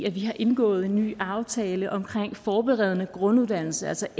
at vi har indgået en ny aftale omkring forberedende grunduddannelse altså